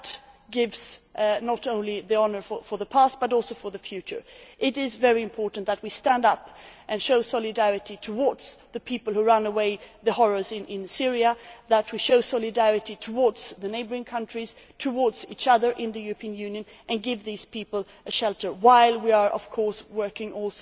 That gives not only honour for the past, but also for the future. It is very important that we stand up and show solidarity towards the people who run away from the horrors in Syria, that we show solidarity towards the neighbouring countries, towards each other in the European Union, and that we give those people shelter, while at the same time working